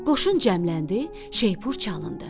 Qoşun cəmləndi, şeypur çalındı.